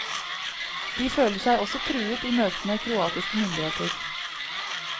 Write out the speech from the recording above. De føler seg også truet i møte med kroatiske myndigheter.